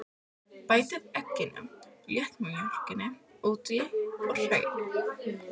Bætið egginu og léttmjólkinni út í og hrærið.